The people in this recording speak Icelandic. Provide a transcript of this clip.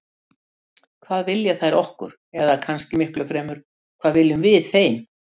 Hvað vilja þær okkur, eða kannski miklu fremur: hvað viljum við þeim?